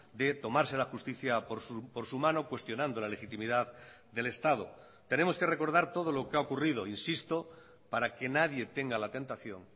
de tomarse la justicia por su mano cuestionando la legitimidad del estado tenemos que recordar todo lo que ha ocurrido insisto para que nadie tenga la tentación